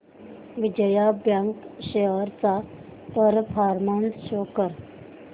Vijaya bank shares चा performance show कर